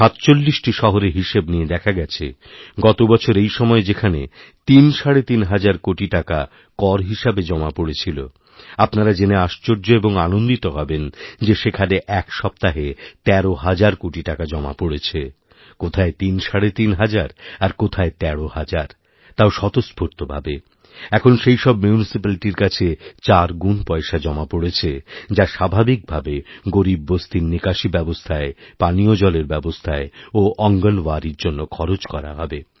সাতচল্লিশটি শহরের হিসেব নিয়ে দেখা গেছে গত বছর এই সময়েযেখানে তিনসাড়ে তিন হাজার কোটি টাকা কর হিসেবে জমা পড়েছিল আপনারা জেনে আশ্চর্যএবং আনন্দিত হবেন যে সেখানে এক সপ্তাহে তেরো হাজার কোটি টাকা জমা পড়েছে কোথায় তিন সাড়ে তিন হাজার আর কোথায় তেরো হাজার তাও স্বতঃস্ফূর্ত ভাবে এখন সেই সবমিউনিসিপ্যালিটির কাছে চার গুণ পয়সা জমা পড়েছে যা স্বাভাবিক ভাবে গরীব বস্তিরনিকাশী ব্যবস্থায় পানীয় জলের ব্যবস্থায় ও অঙ্গণওয়ারির জন্য খরচ করা হবে